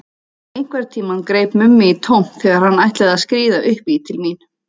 Einhvern tímann greip Mummi í tómt þegar hann ætlaði að skríða upp í til mín.